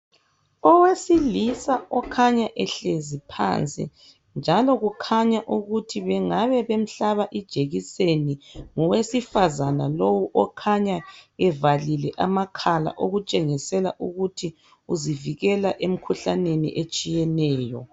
owesilisa okhanya ehlezi phansi njalo kukhanya ukuthi bengaba bemhlaba ijekiseni ngowesifazana lowu okhanya evalile amakhala okutshengisela ukuthi uzivikela emkhuhlaneni etshiyeneyo